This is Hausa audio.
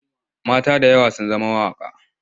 Mata da yawa sun zama mawaƙa.